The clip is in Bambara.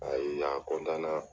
A ye n ye a